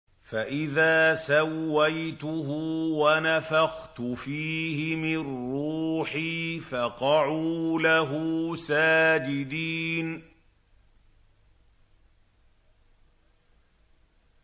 فَإِذَا سَوَّيْتُهُ وَنَفَخْتُ فِيهِ مِن رُّوحِي فَقَعُوا لَهُ سَاجِدِينَ